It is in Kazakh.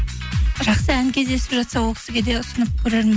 жақсы ән кездесіп жатса ол кісіге де ұсынып көрермін